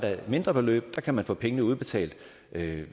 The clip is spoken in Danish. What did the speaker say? mindre beløb kan man få pengene udbetalt